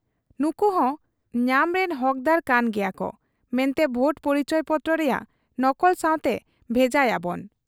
ᱱᱩᱠᱩᱦᱚᱸ ᱧᱟᱢᱨᱤᱱ ᱦᱚᱠᱫᱟᱨ ᱠᱟᱱ ᱜᱮᱭᱟᱠᱚ ᱢᱮᱱᱛᱮ ᱵᱷᱳᱴ ᱯᱚᱨᱤᱪᱚᱭᱯᱚᱛᱨᱚ ᱨᱮᱭᱟᱜ ᱱᱚᱠᱚᱞ ᱥᱟᱶᱛᱮ ᱵᱷᱮᱡᱟᱭᱟᱵᱚᱱ ᱾